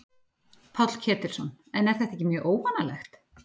Páll Ketilsson: En er þetta ekki mjög óvanalegt?